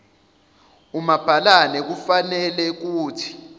umabhalane kufanele kuthi